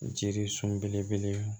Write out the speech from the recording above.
Jiri sun belebele